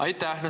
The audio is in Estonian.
Aitäh!